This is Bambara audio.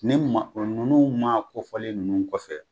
Ne ma ninnu maa kofɔlen ninnu kɔfɛ